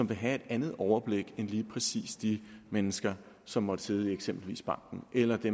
vil have et andet overblik end lige præcis de mennesker som måtte sidde i eksempelvis banken eller de